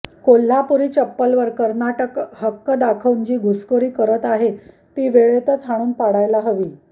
कोल्हापूरी चप्पलवर कर्नाटक हक्क दाखवून जी घुसखोरी करत आहे ती वेळेतच हाणून पाडायला हवी